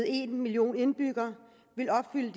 en million indbyggere vil opfylde